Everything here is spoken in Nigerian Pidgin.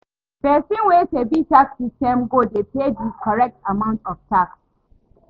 Pesin wey sabi di tax systems go dey pay di correct amount of tax